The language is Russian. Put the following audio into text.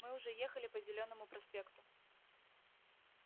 мы уже ехали по зелёному проспекту